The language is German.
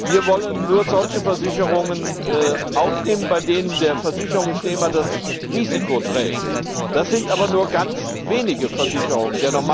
Wir wollen nur solche Versicherungen aufnehmen, bei denen der Versicherungsnehmer das Risiko trägt. Das sind aber nur ganz wenige Versicherungen.